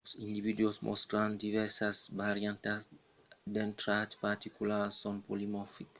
quand los individus mòstran divèrsas variantas d’un trach particular son polimorfics